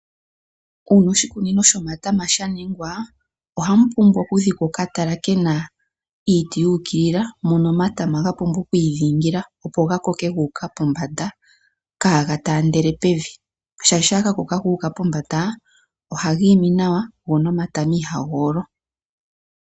Oshikunino shomatama sha ningwa ohamu pumbwa oku dhikwa oka tala kena iiti yu ukilila mono omatama ga pumbwa oku idhingila, opo ga koke gu uka pombanda, kaa ga taandele pevi shaashi shampa ga koko gu uka pombanda ohaga imi nawa, go nomatama ihaga olo.